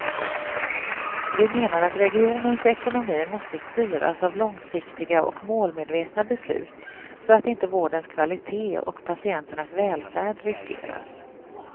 Vi menar att regionens ekonomi måste styras av långsiktiga och målmedvetna beslut så att inte vårdens kvalité och patienternas välfärd riskeras.